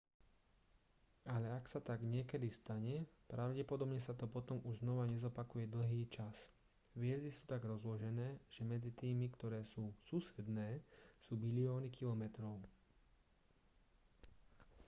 ale ak sa tak niekedy stane pravdepodobne sa to potom už znova nezopakuje dlhý čas hviezdy sú tak rozložené že medzi tými ktoré sú susedné sú bilióny kilometrov